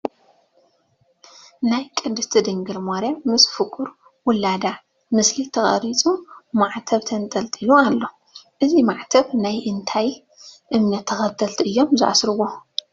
ናይ ቅድስት ድንግል ማርያም ምስ ፍቑር ወልዳ ምስሊ ዝተቐረፆ ማዕተብ ተንጠልጢሉ ኣሎ፡፡ እዚ ማዕተብ ናይ እንታይ እምነት ተኸተልቲ እዮም ዝኣስርዎ?